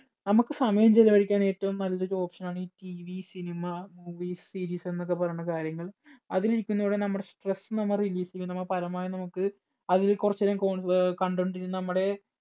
നമുക്ക് സമയം ചെലവഴിക്കാൻ ഏറ്റവും നല്ലൊരു option ആണ് ഈ TVcinema, movies, series എന്നൊക്കെ പറയുന്ന കാര്യങ്ങൾ. അതിൽ ഇരിക്കുന്നതിലൂടെ നമ്മുടെ stress നമ്മ relief ചെയ്യും. നമ്മ പരമാവധി നമുക്ക് അത് കുറച്ചു നേരം കോ അഹ് കണ്ടുകൊണ്ടിരുന്ന നമ്മുടെ